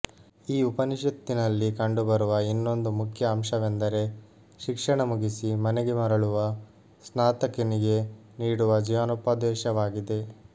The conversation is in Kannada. ಈ ಉಪನಿಷತ್ತಿನಲ್ಲಿ ಕಂಡು ಬರುವ ಇನ್ನೊಂದು ಮುಖ್ಯ ಅಂಶವೆಂದರೆ ಶಿಕ್ಷಣ ಮುಗಿಸಿ ಮನೆಗೆ ಮರಳುವ ಸ್ನಾತಕನಿಗೆ ನೀಡುವ ಜೀವನೋಪದೇಶವಾಗಿದೆ